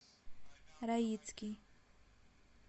раицкий